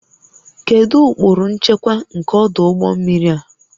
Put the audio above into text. Kedu ụkpụrụ nchekwa nke ọdụ ụgbọ mmiri a?